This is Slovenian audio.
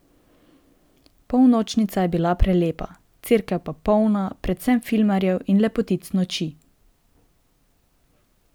Polnočnica je bila prelepa, cerkev pa polna, predvsem filmarjev in lepotic noči.